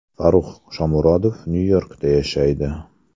Farrux Shomurodov Nyu-Yorkda yashaydi.